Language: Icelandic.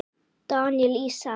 Daníel Ísak.